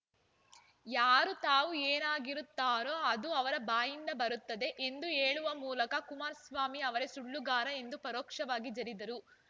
ಯಾರು ತಾವು ಏನಾಗಿರುತ್ತಾರೋ ಅದು ಅವರ ಬಾಯಿಂದ ಬರುತ್ತದೆ ಎಂದು ಹೇಳುವ ಮೂಲಕ ಕುಮಾರಸ್ವಾಮಿ ಅವರೇ ಸುಳ್ಳುಗಾರ ಎಂದು ಪರೋಕ್ಷವಾಗಿ ಜರಿದರು